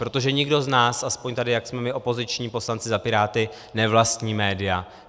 Protože nikdo z nás, aspoň tady, jak jsme my opoziční poslanci za Piráty, nevlastní média.